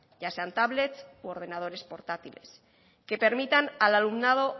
ya sean tablets u ordenadores portátiles que permitan al alumnado